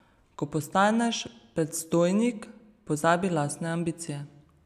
Ko postaneš predstojnik, pozabi lastne ambicije.